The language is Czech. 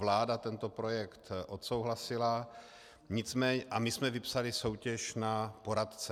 Vláda tento projekt odsouhlasila a my jsme vypsali soutěž na poradce.